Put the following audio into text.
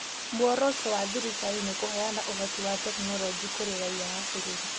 Muoroto wa thirikari nĩ kũheana ũhoti wa tekinolonjĩ kũrĩ raiya a bũrũri.